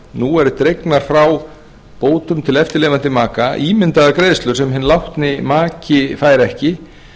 nú eru dregnar frá bótum til eftirlifandi maka ímyndaðar greiðslur sem hinn látni maki fær ekki